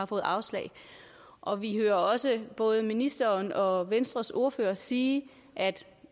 fået afslag og vi hører også både ministeren og venstres ordfører sige at